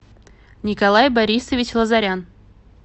николай борисович лазарян